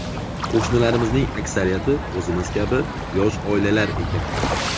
Qo‘shnilarimizning aksariyati o‘zimiz kabi yosh oilalar ekan.